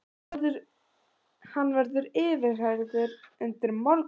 Hann verður yfirheyrður undir morgun